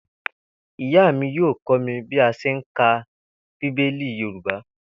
Ìyá mi yóò kó̩ mi bí a s̩e ń ka bíbélì Yorùbá